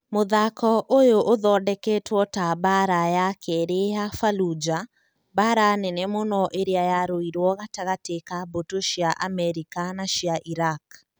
Mũthako ũyũ ũthondeketwo ta mbaara ya Kerĩ ya Fallujah, mbaara nene mũno ĩrĩa yarũirũo gatagatĩ ka mbũtũ cia Amerika na cia Iraq.